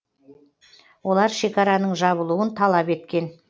олар шекараның жабылуын талап еткен